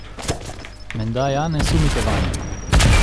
Menda ja ne sumite vanjo?